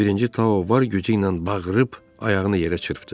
Birinci Tao var gücü ilə bağırıb ayağını yerə çırpdı.